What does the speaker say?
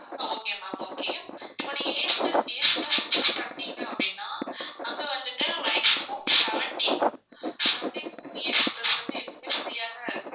okay ma'am okay இப்போ நீங்க AC bus choose பண்ணீங்க அப்படின்னா அங்க வந்துட்டு maximum seventeen seventeen AC bus வந்து எப்பவுமே free ஆ தான் இருக்கு.